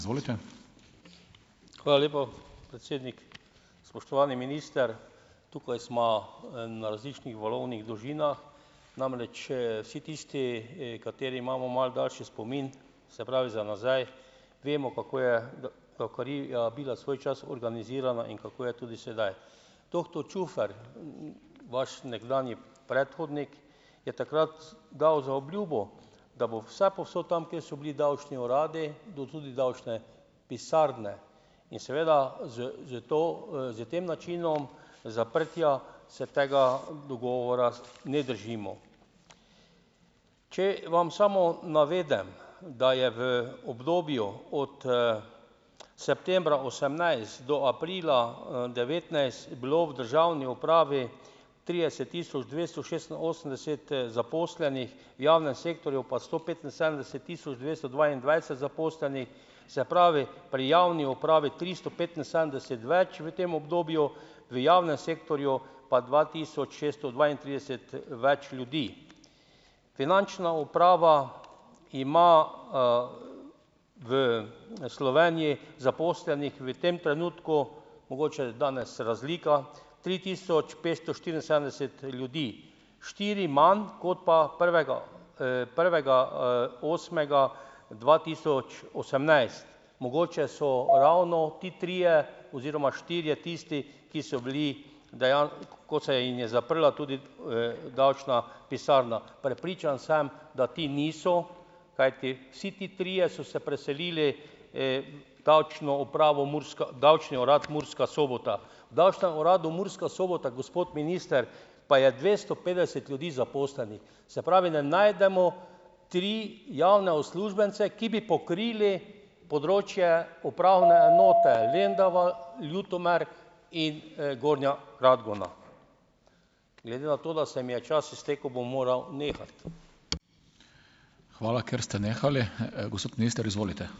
Hvala lepa, predsednik. Spoštovani minister! Tukaj sva, na različnih valovnih dolžinah. Namreč, vsi tisti, kateri imamo malo daljši spomin, se pravi, za nazaj, vemo, kako je davkarija bila svoj čas organizirana in kako je tudi sedaj. Doktor Čufer, vaš nekdanji predhodnik, je takrat dal zaobljubo, da bo vsepovsod tam, kjer so bili davčni uradi, tudi davčne pisarne, in seveda s s to, s tem načinom zaprtja se tega dogovora ne držimo. Če vam samo navedem, da je v obdobju od, septembra osemnajst do aprila, devetnajst, bilo v državni upravi trideset tisoč dvesto šestinosemdeset, zaposlenih, v javnem sektorju pa sto petinsedemdeset tisoč dvesto dvaindvajset zaposlenih, se pravi, pri javni upravi tristo petinsedemdeset več v tem obdobju, v javnem sektorju pa dva tisoč šeststo dvaintrideset, več ljudi. Finančna uprava ima, v Sloveniji zaposlenih v tem trenutku, mogoče danes razlika, tri tisoč petsto štiriinsedemdeset ljudi, štiri manj kot pa prvega, prvega, osmega dva tisoč osemnajst. Mogoče so ravno ti trije oziroma štirje tisti, ki so bili, kot se jim je zaprla tudi, davčna pisarna. Prepričan sem, da ti niso, kajti vsi ti trije so se preselili, v Davčno upravo Murska, Davčni urad Murska Sobota. V Davčnem uradu Murska Sobota, gospod minister, pa je dvesto petdeset ljudi zaposlenih. Se pravi, ne najdemo tri javne uslužbence, ki bi pokrili področje upravne enote Lendava, Ljutomer in, Gornja Radgona. Glede na to, da se mi je čas iztekel, bom moral nehati.